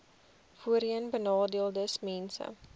voorheenbenadeeldesmense